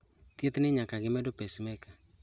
Thieth ni nyaka gi medo pacemaker